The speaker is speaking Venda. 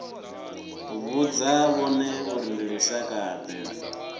vhudza vhone uri ndi lushakade